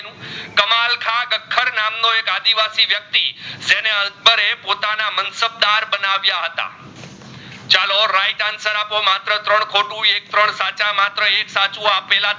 એક્ટરણ સાચા માત્ર એક સાચું અપેલા